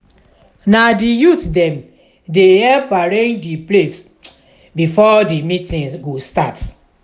na di youth dem dey help arrange di place before meeting go start.